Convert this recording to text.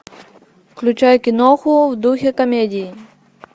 включай киноху в духе комедии